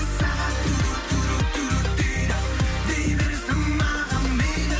сағат дейді дей берсін маған мейлі